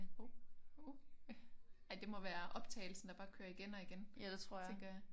Hov. Ej det må være optagelsen der bare kører igen og igen tænker jeg